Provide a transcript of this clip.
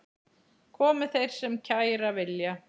Komi þeir sem kæra vilja.